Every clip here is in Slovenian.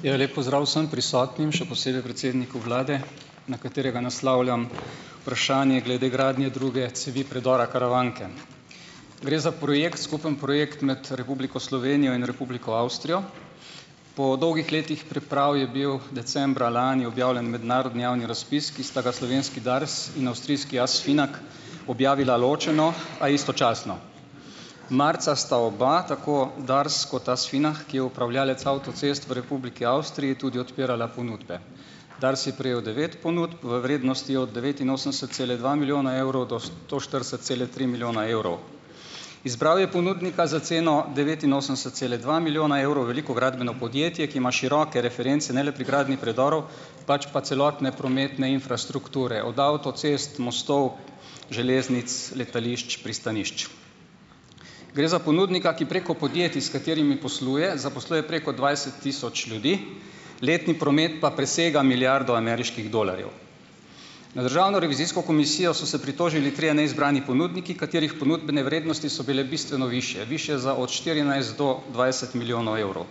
Ja, lep pozdrav vsm prisotnim, še posebej predsedniku vlade, na katerega naslavljam vprašanje glede gradnje druge cevi predora Karavanke. Gre za projekt, skupni projekt med Republiko Slovenijo in Republiko Avstrijo. Po dolgih letih priprav je bil decembra lani objavljen mednarodni javni razpis, ki sta ga slovenski Dars in avstrijski Asfinag objavila ločeno, a istočasno. Marca sta oba, tako Dars kot Asfinag, ki je upravljavec avtocest v Republiki Avstriji tudi odpirala ponudbe. Dars je prejel devet ponudb v vrednosti od devetinosemdeset cela dva milijona evrov do sto štirideset celih tri milijona evrov. Izbral je ponudnika za ceno devetinosemdeset cela dva milijona evrov, veliko gradbeno podjetje, ki ima široke reference ne le pri gradnji predorov, pač pa celotne prometne infrastrukture, od avtocest, mostov, železnic, letališč, pristanišč. Gre za ponudnika, ki preko podjetij, s katerimi posluje, zaposluje preko dvajset tisoč ljudi, letni promet pa presega milijardo ameriških dolarjev. Na državno revizijsko komisijo so se pritožili trije neizbrani ponudniki, katerih ponudbene vrednosti so bile bistveno višje, višje za od štirinajst do dvajset milijonov evrov.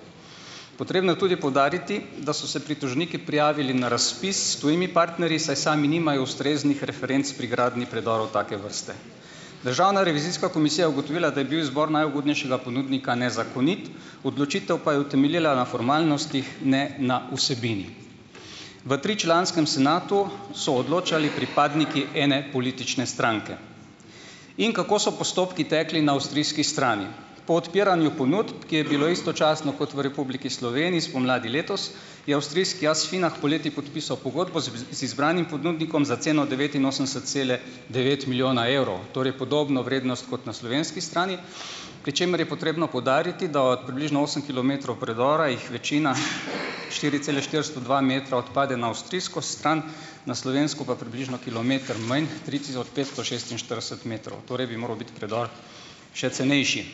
Potrebno je tudi poudariti, da so se pritožniki prijavili na razpis s tujimi partnerji, saj sami nimajo ustreznih referenc pri gradnji predorov take vrste. Državna revizijska komisija je ugotovila, da je bil izbor najugodnejšega ponudnika nezakonit, odločitev pa je utemeljila na formalnostih, ne na vsebini. V tričlanskem senatu so odločali pripadniki ene politične stranke. In kako so postopki tekli na avstrijski strani? Po odpiranju ponudb, ki je bilo istočasno kot v Republiki Sloveniji spomladi letos, je avstrijski Asfinag poleti podpisal pogodbo z z z izbranim ponudnikom za ceno devetinosemdeset cela devet milijona evrov, torej podobno vrednost kot na slovenski strani, pri čemer je potrebno poudariti, da od približno osem kilometrov predora jih večina, štiri cele štiristo dva metra odpade na avstrijsko stran, na slovensko pa približno kilometer manj, tri tisoč petsto šestinštirideset metrov. Torej bi moral biti predor še cenejši.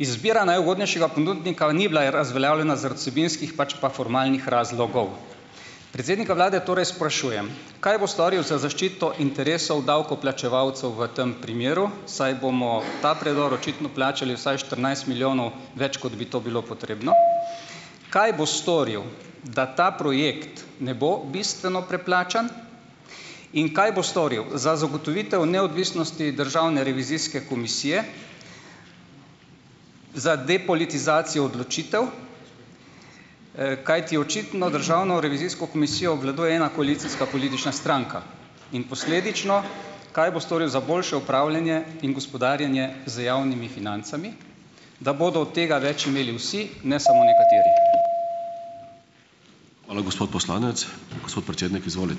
Izbira najugodnejšega ponudnika ni bila razveljavljena zaradi vsebinskih, pač pa formalnih razlogov. Predsednika vlade torej sprašujem, kaj bo storil za zaščito interesov davkoplačevalcev v tem primeru, saj bomo ta predor očitno plačali vsaj štirinajst milijonov več, kot bi to bilo potrebno. Kaj bo storil, da ta projekt ne bo bistveno preplačan? In kaj bo storil za zagotovitev neodvisnosti državne revizijske komisije, za depolitizacijo odločitev, kajti očitno Državno revizijsko komisijo obvladuje ena koalicijska politična stranka? In posledično, kaj bo storil za boljše upravljanje in gospodarjenje z javnimi financami, da bodo od tega več imeli vsi, ne samo nekateri?